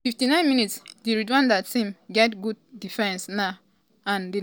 57mins- di rwanda tam get good defence now and di nigeria team dey find am um difficult to break into di into di net.